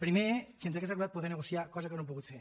primer que ens hauria agradat poder negociar cosa que no hem pogut fer